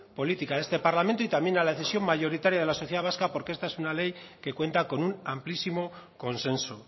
política de este parlamento y también a la decisión mayoritaria de la sociedad vasca porque esta es una ley que cuenta con un amplísimo consenso